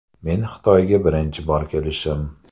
Men Xitoyga birinchi bor kelishim.